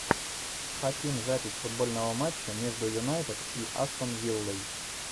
хотим запись футбольного матча между юнайтед и астон виллой